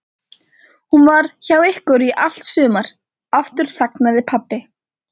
Hún var hjá ykkur í allt sumar. Aftur þagnaði pabbi.